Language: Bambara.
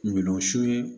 Kungolo siw ye